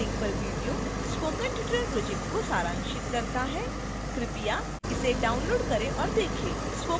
निम्नलिखित link पर video spoken tutorial project को सारांशित करता है कृपया इसे download करें और देखें